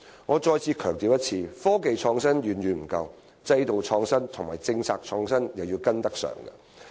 我再次強調，科技創新遠遠不夠，制度創新和政策創新也要跟得上。